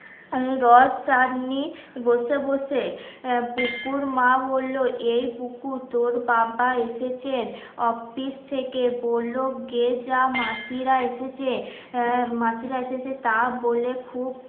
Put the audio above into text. রস, চাটনি, বসে বসে, আহ বুকুর মা বলল, এ বুকু তোর বাবা এসেছে অফিস থেকে বলল গে যা মাসিরা এসেছে হ্যাঁ মাসিরা এসেছে তা বলে খুব